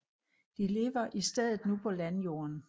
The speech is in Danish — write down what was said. De lever i stedet nu på landjorden